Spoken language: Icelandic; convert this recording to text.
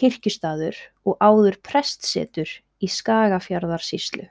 kirkjustaður og áður prestssetur í Skagafjarðarsýslu.